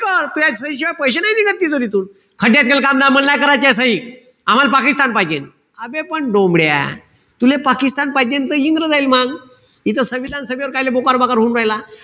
कर. तुह्या सहीशिवाय पैशे नाई निघत तिथून. खड्ड्यात गेलं काम मल नाई करायचेत सही. आम्हाल पाकिस्तान पाहिजे. आबे पण डोमड्या तुले पाकिस्तान पाहिजे त इंग्रजायले मांग. इथं संविधान सभेवर कायले बोकार-बाकार होऊन राहिला.